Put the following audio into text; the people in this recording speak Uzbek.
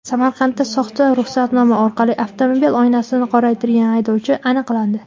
Samarqandda soxta ruxsatnoma orqali avtomobil oynasini qoraytirgan haydovchi aniqlandi.